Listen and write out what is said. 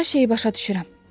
Hər şeyi başa düşürəm.